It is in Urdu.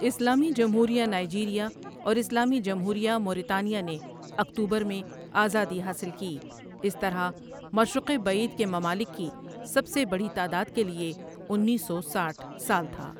اسلامی جمہوریہ نائیجیریا اور اسلامی جمہوریہ موریتانیا نے اکتوبر میں آزادی حاصل کی اس طرح ، مشرق بعید کے ممالک کی سب سے بڑی تعداد کے لئے انیس سو سٹھ سال تھا۔